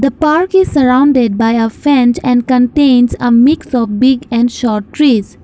the park is surrounded by a fence and contains a mix of big and short trees.